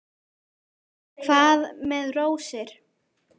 Hvað með rósir?